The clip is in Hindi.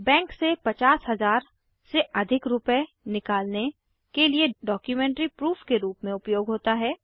बैंक से 50 000 से अधिक रुपये निकालने के लिए डॉक्युमेंट्री प्रूफ के रूप में उपयोग होता है